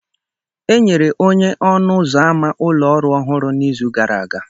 Enyere onye ọnụ ụzọ ámá ụlọ ọrụ ọhụrụ n'izu gara aga.